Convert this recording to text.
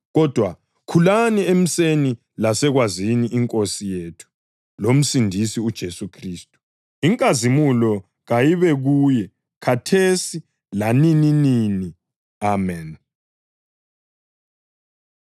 Kodwa khulani emuseni lasekwazini iNkosi yethu loMsindisi uJesu Khristu. Inkazimulo kayibe kuye khathesi lanininini! Ameni.